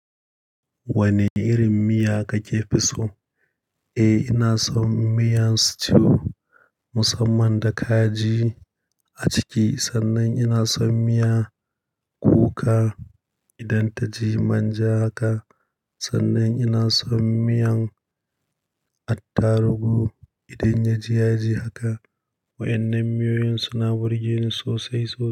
Wane irin miya kake fi so? Eh, ina son miyan stew musamman da kaji a ciki. Sannan ina son miya kuka idan ta ji manja haka. Sannan ina son miyan attaruhu idan ya ji yaji haka. Waɗannan miyoyin suna burge ni sosai sosai.